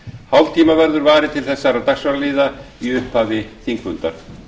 hálftíma verður varið til þessara dagskrárliða í upphafi þingfundar